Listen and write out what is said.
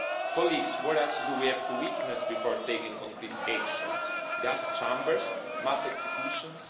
Colleagues, what else do we have to witness before taking concrete actions gas chambers? Mass executions?